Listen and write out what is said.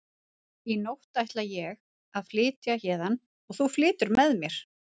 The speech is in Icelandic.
Í nótt ætla ég að flytja héðan og þú flytur með mér.